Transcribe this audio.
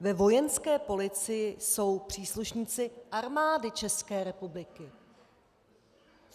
Ve Vojenské policii jsou příslušníci Armády České republiky.